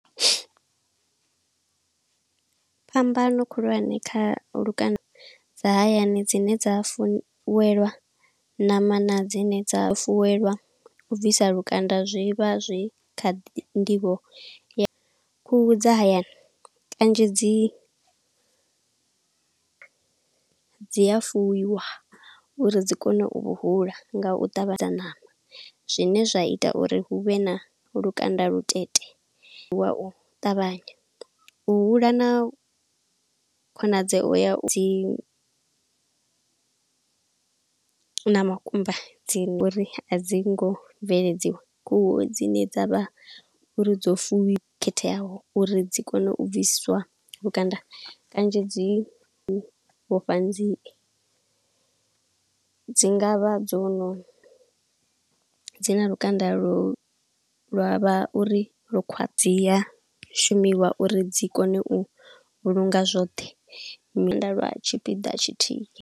Phambano khulwane kha lukanda dza hayani dzine dza fuwelwa ṋama na dzine dza fuwelwa u bvisa lukanda. Zwi vha zwi kha nḓivho ya khuhu dza hayani kanzhi dzi dzi a fuwiwa uri dzi kone u hula nga u ṱavhanya. Ṋama zwine zwa ita uri huvhe na lukanda Lutete wa u ṱavhanya, u hula na khonadzeo ya dzi na makumba dzi ngo Uri a dzi ngo bveledziwa. Khuhu dzine dzavha uri dzo fuwi khetheaho uri dzi kone u bvisiswa lukanda, kanzhi dzi vhofha nzie. Dzi ngavha dzo no, dzi na lukanda lo lwa vha uri lukhwa, dzi a shumiwa uri dzi kone u vhulunga zwoṱhe, lwa tshipiḓa tshithihi.